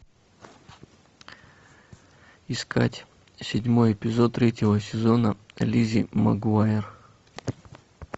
искать седьмой эпизод третьего сезона лиззи магуайр